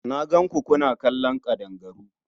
Na gan ku kuna kallon ƙadangaru.